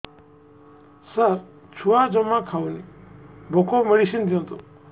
ସାର ଛୁଆ ଜମା ଖାଉନି ଭୋକ ମେଡିସିନ ଦିଅନ୍ତୁ